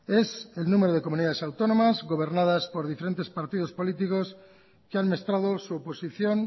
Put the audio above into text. es el número de comunidades autónomas gobernadas por diferentes políticos que han mostrado su oposición